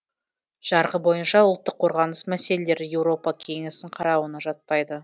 жарғы бойынша ұлттық қорғаныс мәселелері еуропа кеңесінің қарауына жатпайды